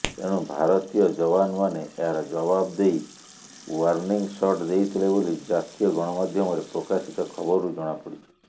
ଏଣୁ ଭାରତୀୟ ଯବାନମାନେ ଏହାର ଜବାବ ଦେଇ ଓ୍ୱାର୍ଣ୍ଣିଂସଟ୍ ଦେଇଥିଲେ ବୋଲି ଜାତୀୟ ଗଣମାଧ୍ୟମରେ ପ୍ରକାଶିତ ଖବରରୁ ଜଣାପଡ଼ିଛି